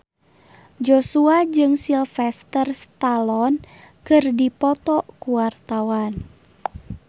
Joshua jeung Sylvester Stallone keur dipoto ku wartawan